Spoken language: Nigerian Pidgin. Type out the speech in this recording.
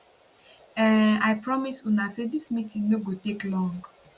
um i promise una say dis meeting no go take long